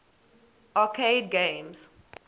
arcade games